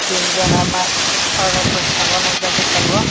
tinjona ma aro boskango nogjagoi tango.